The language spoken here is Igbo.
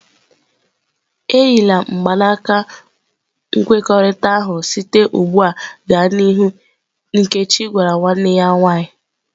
E yila mgbanaka nkwekọrịta ahụ site ugbu a gaa n'ihu!" Nkechi gwara nwanne ya nwaanyị ""